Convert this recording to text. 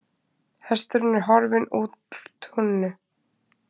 Hesturinn er horfinn úr túninu.